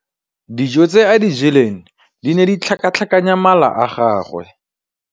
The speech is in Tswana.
Dijô tse a di jeleng di ne di tlhakatlhakanya mala a gagwe.